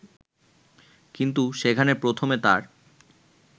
কিন্তু সেখানে প্রথমে তার